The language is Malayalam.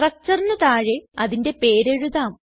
structureന് താഴെ അതിന്റെ പേര് എഴുതാം